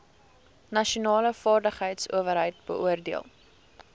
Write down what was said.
nasionale vaardigheidsowerheid beoordeel